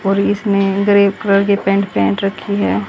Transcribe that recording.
और इसने grey colour की पैंट पहन रखी है।